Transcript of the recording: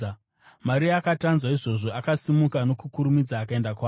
Maria akati anzwa izvozvo, akasimuka nokukurumidza akaenda kwaari.